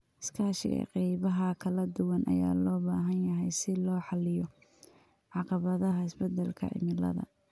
Iskaashiga qaybaha kala duwan ayaa loo baahan yahay si loo xalliyo caqabadaha isbedelka cimilada.